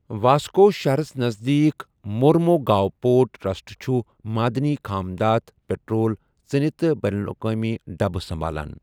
Vasco شَہرَس نزدیٖک Mormugao port trust چھُ معدنی خام دھات، پٹرول، ژِنِہ تہٕ بین الاقوٲمی ڈَبہٕ سَمبالان۔